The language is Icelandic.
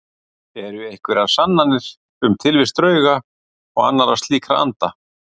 Eru einhverjar sannanir um tilvist drauga og annarra slíkra anda?